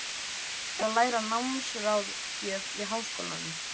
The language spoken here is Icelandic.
Ég er að læra námsráðgjöf í Háskólanum.